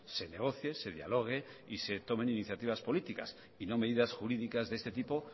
se negocie se dialogue y se tomen iniciativas políticas y no medidas jurídicas de este tipo